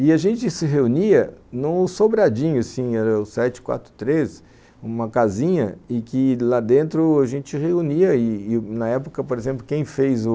E a gente se reunia num sobradinho, assim, era o sete, quatro, três, uma casinha, e que lá dentro a gente reunia, e na época, por exemplo, quem fez o...